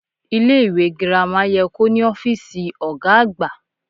Ilé ìwé girama ye kó ní ófíìsì ògá àgbà